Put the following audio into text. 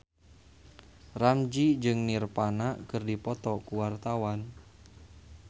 Ramzy jeung Nirvana keur dipoto ku wartawan